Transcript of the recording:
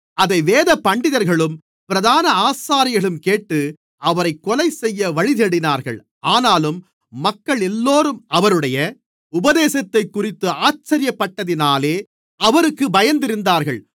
அதை வேதபண்டிதர்களும் பிரதான ஆசாரியர்களும் கேட்டு அவரைக் கொலைசெய்ய வழிதேடினார்கள் ஆனாலும் மக்களெல்லோரும் அவருடைய உபதேசத்தைக்குறித்து ஆச்சரியப்பட்டதினாலே அவருக்கு பயந்திருந்தார்கள்